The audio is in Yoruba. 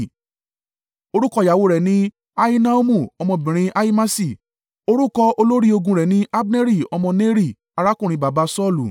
Orúkọ ìyàwó rẹ̀ ní Ahinoamu ọmọbìnrin Ahimasi. Orúkọ olórí ogun rẹ̀ ni Abneri ọmọ Neri arákùnrin baba Saulu.